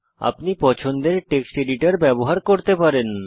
আপনি পছন্দের text editor ব্যবহার করতে পারেন